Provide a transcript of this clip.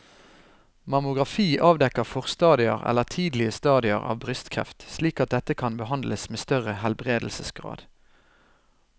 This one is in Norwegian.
Mammografi avdekker forstadier eller tidlige stadier av brystkreft slik at dette kan behandles med større helbredelsesgrad.